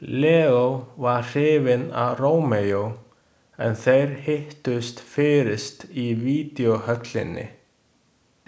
Leó var hrifinn af Rómeó en þeir hittust fyrist í videóhöllinni.